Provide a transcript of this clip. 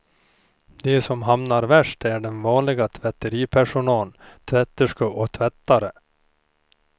De som hamnar värst är den vanliga tvätteripersonalen, tvätterskor och tvättare.